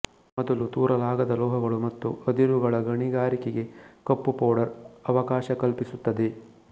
ಮೊದಲು ತೂರಲಾಗದ ಲೋಹಗಳು ಮತ್ತು ಅದಿರುಗಳ ಗಣಿಗಾರಿಕೆಗೆ ಕಪ್ಪು ಪೌಡರ್ ಅವಕಾಶ ಕಲ್ಪಿಸುತ್ತದೆ